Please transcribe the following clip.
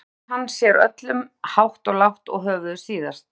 Þar þvær hann sér öllum hátt og lágt og höfuðið síðast.